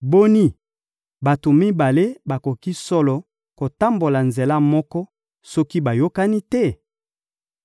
Boni, bato mibale bakoki solo kotambola nzela moko soki bayokani te?